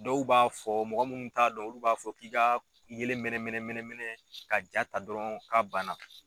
Dɔw b'a fɔ mɔgɔ munnu t'a dɔn olu b'a fɔ k'i ka yelen mɛnɛn mɛnɛn mɛnɛn mɛnɛn ka jaa ta dɔrɔn k'a ban na.